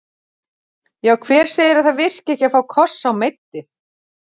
Já hver segir að það virki ekki að fá koss á meiddið?